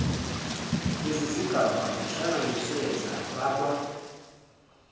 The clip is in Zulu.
lezizigaba zihlanganiswe zafakwa